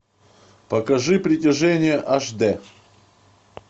покажи притяжение аш дэ